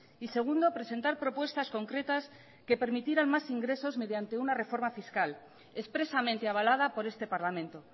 y segundo presentar propuestas concretas que permitieran más ingresos mediante una reforma fiscal expresamente avalada por este parlamento